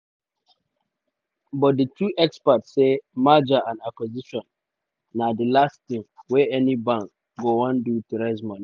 but di two experts say merger and acquisition na di last tin wey any bank go wan do to raise moni.